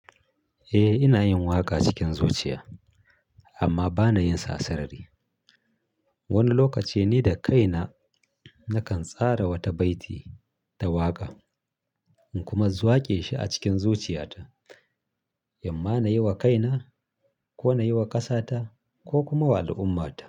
Eh ina yin waƙa cikin zuciya amma bana yin sa sarari. Wani lokaci ni da kaina nakan tsara wata baiti ta waƙa in kuma waƙe shi a cikin zuciyata, imma nayi wa kaina ko nayi wa ƙasata ko kuma wa al'ummata.